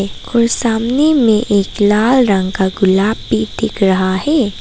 कोई सामने में एक लाल रंग का गुलाब भी दिख रहा है।